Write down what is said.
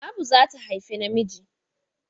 Abu za ta haifa namiji.